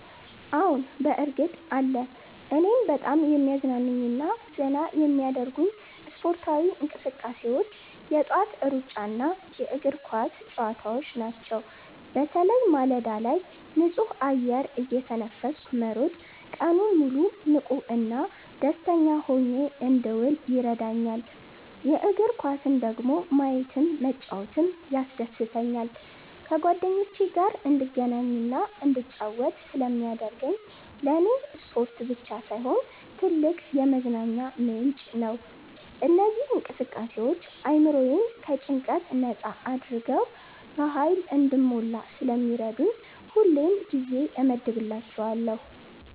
አዎ፣ በእርግጥ አለ! እኔን በጣም የሚያዝናኑኝና ዘና የሚያደርጉኝ ስፖርታዊ እንቅስቃሴዎች የጠዋት ሩጫና የእግር ኳስ ጨዋታዎች ናቸው። በተለይ ማለዳ ላይ ንጹህ አየር እየተነፈስኩ መሮጥ ቀኑን ሙሉ ንቁና ደስተኛ ሆኜ እንድውል ይረዳኛል። የእግር ኳስን ደግሞ ማየትም መጫወትም ያስደስተኛል። ከጓደኞቼ ጋር እንድገናኝና እንድጫወት ስለሚያደርገኝ ለኔ ስፖርት ብቻ ሳይሆን ትልቅ የመዝናኛ ምንጭ ነው። እነዚህ እንቅስቃሴዎች አእምሮዬን ከጭንቀት ነጻ አድርገው በሃይል እንድሞላ ስለሚረዱኝ ሁሌም ጊዜ እመድብላቸዋለሁ።